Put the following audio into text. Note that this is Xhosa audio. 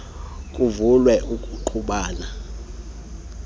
kuvele ukungqubana kwezimvo